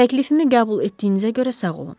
Təklifimi qəbul etdiyinizə görə sağ olun.